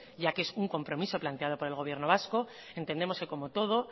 ya que es un compromiso planteado por el gobierno vasco entendemos que como todo